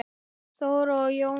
Þóra og Jóna.